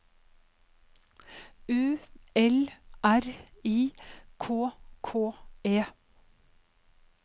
U L R I K K E